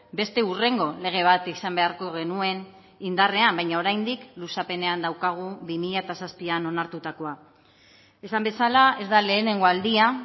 beste hurrengo lege bat izan beharko genuen indarrean baina oraindik luzapenean daukagu bi mila zazpian onartutakoa esan bezala ez da lehenengo aldia